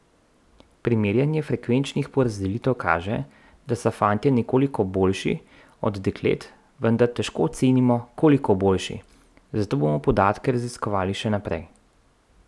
Primerjanje frekvenčnih porazdelitev kaže, da so fantje nekoliko boljši od deklet, vendar težko ocenimo, koliko boljši, zato bomo podatke raziskovali še naprej.